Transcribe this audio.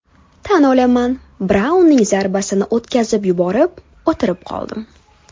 Tan olaman, Braunning zarbasini o‘tkazib yuborib, o‘tirib qoldim.